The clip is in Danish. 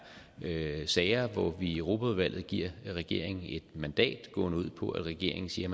sager hvor vi i europaudvalget giver regeringen et mandat gående ud på at regeringen siger